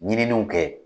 Ɲininiw kɛ